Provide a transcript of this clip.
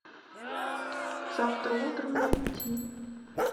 завтра утром найти